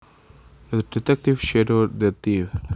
The detective shadowed the thief